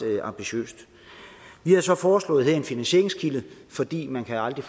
ambitiøst vi havde så foreslået en finansieringskilde fordi man aldrig